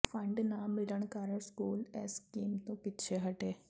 fund ਨਾ ਮਿਲਣ ਕਾਰਨ ਸਕੂਲ ਇਸ ਸਕੀਮ ਤੋਂ ਪਿੱਛੇ ਹਟੇ